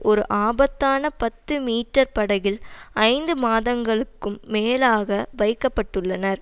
ஒரு ஆபத்தான பத்து மீட்டர் படகில் ஐந்து மாதங்களுக்கும் மேலாக வைக்கப்பட்டுள்னர்